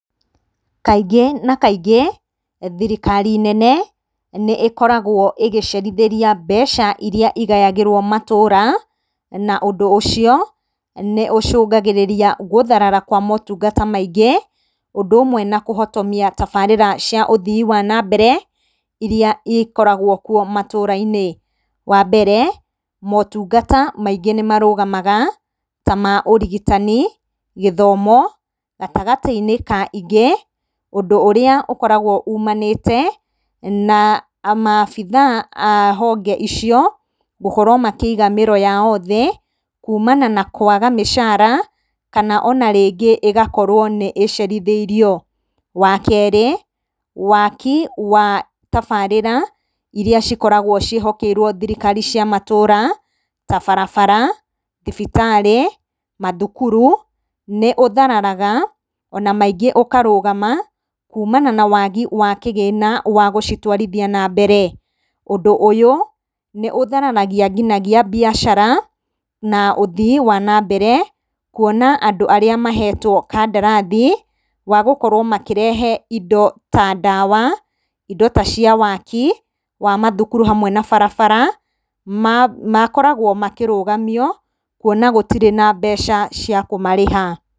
Kaingĩ na kaingĩ, thirikari nene, nĩ ĩkoragwo ĩgĩcerithĩrĩa mbeca iria igayagĩrwo matũra, na ũndũ ũcio, nĩ ũcũngagĩrĩria gũtharara kwa motunga maingĩ, ũndũ ũmwe na kũhotomia tabarĩra cia ũthii wa nambere, iria ikoragwo kuo matũra-inĩ. Wambere, motungata maingĩ nĩ marũgamaga, tamaũrigitani, gĩthomo, gatagatĩ-inĩ ka ingĩ, ũndũ ũrĩa ũkoragwo umanĩte na maabitha a honge icio, gũkorwo makĩiga mĩro yao thĩ, kuumana na kwaga mĩcara, kana ona rĩngĩ ĩgakorwo ĩcerithĩirio. Wakerĩ, waki wa tabarĩra, iria cikoragwo ciĩhokeirwo thirikari cia matũra, tabarabara, thibitarĩ, mathukuru, nĩ ũthararaga, ona maingĩ ũkarũgama kuumana na wagi wa kĩgĩna gĩa gũtwarithia nambere. Ũndũ ũyũ, nĩ ũthararagia nginya mbĩacara, ũthii wa nambere, kuona andũ arĩa mahetwo kandarathi, magũkorwo makĩrehe indo ta ndawa, indo ta cia waki wa mathukuru hamwe na barabara, makoragwo makĩrũgamio, kwona gũtirĩ na mbeca cia kũmarĩha.